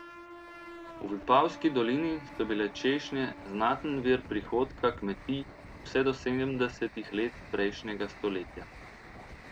V Vipavski dolini so bile češnje znaten vir prihodka kmetij vse do sedemdesetih let prejšnjega stoletja.